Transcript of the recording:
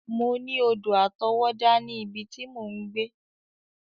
Mọ ní odò àtọwọ́dá ní ibi tí mò ń gbé.